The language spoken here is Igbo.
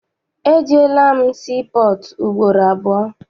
Ejeela m sii pọọtụ ugboro abụọ.